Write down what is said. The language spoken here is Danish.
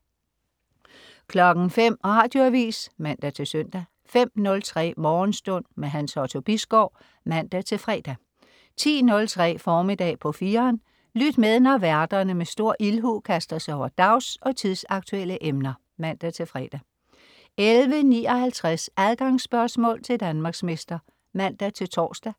05.00 Radioavis (man-søn) 05.03 Morgenstund. Hans Otto Bisgaard (man-fre) 10.03 Formiddag på 4'eren. Lyt med, når værterne med stor ildhu kaster sig over dags- og tidsaktuelle emner (man-fre) 11.59 Adgangsspørgsmål til Danmarksmester (man-tors)